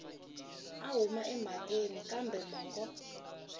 a huma emhakeni kambe mongo